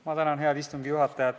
Ma tänan head istungi juhatajat.